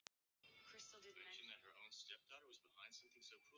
Karma, hver er dagsetningin í dag?